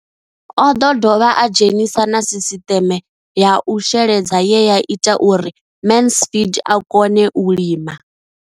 O ḓo dovha a dzhenisa na sisiṱeme ya u sheledza ye ya ita uri Mansfied a kone u lima.